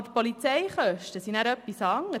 Aber die Polizeikosten sind etwas anderes.